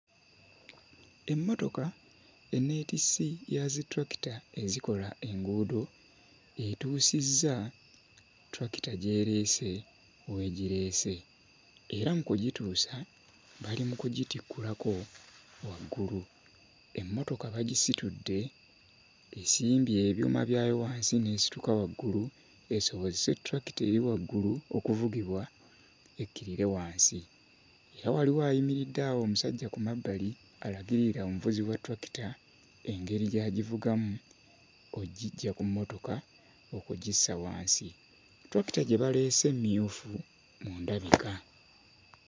Emmotoka enneetissi ya zitulakita ezikola enguudo etuusizza ttulakita gy'ereese w'egireese era mu kugituusa bali mu kugitikkulako waggulu, emmotoka bagisitudde esimbye ebyuma byayo wansi n'esituka waggulu esobozese ttulakita eri waggulu okuvugibwa ekkirire wansi, era waliwo ayimiridde awo omusajja ku mabbali alagirira omuvuzi wa ttulakita engeri gy'agivugamu oggiggya ku mmotoka okugissa wansi. Ttulakita gye baleese mmyufu mu ndabika.